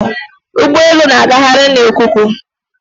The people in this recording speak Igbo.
Ụgbọelu na-agagharị na ikuku